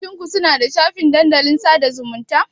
Ofishin ku suna da shafin dandalin sada zumunta.